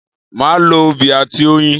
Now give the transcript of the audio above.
Màá lo obì àti oyin